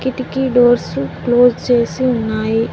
వీటికి doors close చేసి ఉన్నాయి.